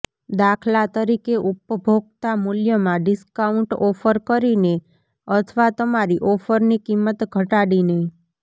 દાખલા તરીકે ઉપભોક્તા મૂલ્યમાં ડિસ્કાઉન્ટ ઓફર કરીને અથવા તમારી ઓફરની કિંમત ઘટાડીને